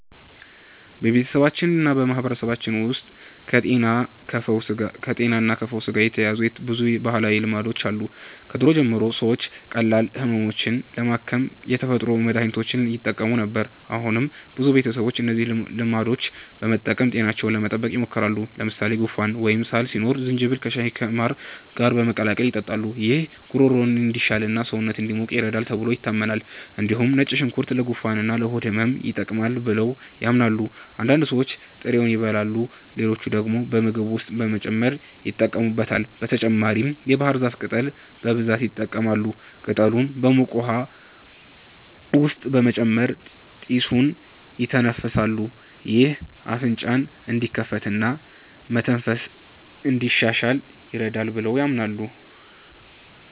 በቤተሰባችንና በማህበረሰባችን ውስጥ ከጤናና ከፈውስ ጋር የተያያዙ ብዙ ባህላዊ ልማዶች አሉ። ከድሮ ጀምሮ ሰዎች ቀላል ህመሞችን ለማከም የተፈጥሮ መድሀኒቶችን ይጠቀሙ ነበር። አሁንም ብዙ ቤተሰቦች እነዚህን ልማዶች በመጠቀም ጤናቸውን ለመጠበቅ ይሞክራሉ። ለምሳሌ ጉንፋን ወይም ሳል ሲኖር ዝንጅብል ከሻይና ከማር ጋር በመቀላቀል ይጠጣሉ። ይህ ጉሮሮን እንዲሻሽልና ሰውነትን እንዲሞቅ ይረዳል ተብሎ ይታመናል። እንዲሁም ነጭ ሽንኩርት ለጉንፋንና ለሆድ ህመም ይጠቅማል ብለው ያምናሉ። አንዳንድ ሰዎች ጥሬውን ይበላሉ፣ ሌሎች ደግሞ በምግብ ውስጥ በመጨመር ይጠቀሙበታል። በተጨማሪም የባህር ዛፍ ቅጠል በብዛት ይጠቀማሉ። ቅጠሉን በሙቅ ውሃ ውስጥ በመጨመር ጢሱን ይተነፍሳሉ። ይህ አፍንጫን እንዲከፍትና መተንፈስን እንዲያሻሽል ይረዳል ብለው ያምናሉ።